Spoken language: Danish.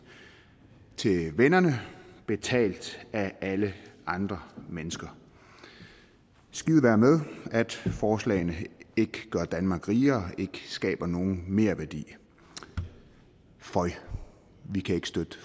til vennerne betalt af alle andre mennesker skide være med at forslagene ikke gør danmark rigere ikke skaber nogen merværdi føj vi kan ikke støtte